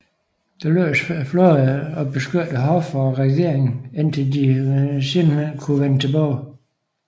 Det lykkedes flåden at beskytte hoffet og regeringen indtil de senere kunne vende tilbage